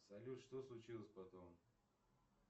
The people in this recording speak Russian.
салют что случилось потом